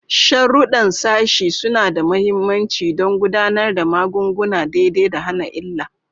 Sharuɗɗan sashi suna da mahimmanci don gudanar da magunguna daidai da hana illa.